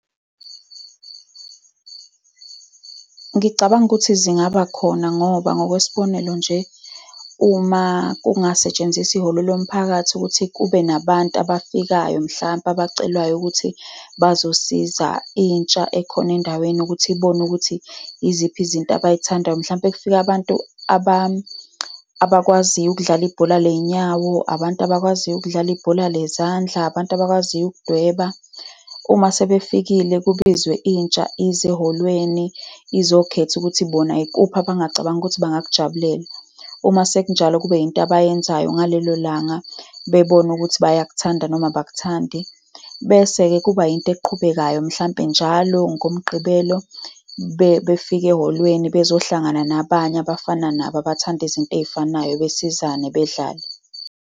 Ngicabanga ukuthi zingaba khona, ngoba ngokwesibonelo nje, uma kungasetshenziswa ihholo lomphakathi ukuthi kube nabantu abafikayo, mhlampe abacelwayo ukuthi bazosiza intsha ekhona endaweni ukuthi ibone ukuthi yiziphi izinto abay'thandayo, mhlawumpe kufike abantu abakwaziyo ukudlala ibhola ley'nyawo, abantu abakwaziyo ukudlala ibhola lezandla, abantu abakwaziyo ukudweba, uma sebefikile, kubizwe intsha ize ehholweni, izokhetha ukuthi bona ikuphi abangacabangi ukuthi bangakujabulela. Uma sekunjalo, kube into abayenzayo ngalelo langa. Bebone ukuthi bayakuthanda, noma abakuthandi. Bese-ke kuba yinto eqhubekayo mhlampe njalo ngoMgqibelo, befika ehholweni bezohlangana nabanye abafana nabo, abathanda izinto ey'fanayo, besizane bedlale.